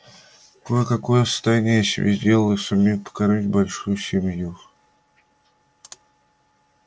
кое-какое состояние я себе сделал и сумею прокормить большую семью